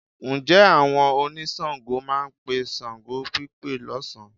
Ǹjẹ́ àwọn oníṣàngó máa pe ṣàngópípe lọ́sàn-án?